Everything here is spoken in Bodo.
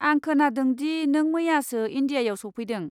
आं खोनादों दि नों मैयासो इन्डियायाव सफैदों।